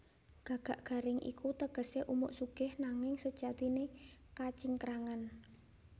Gagak garing iku tegesé umuk sugih nanging sejatiné kacingkrangan